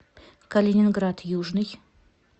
калининград южный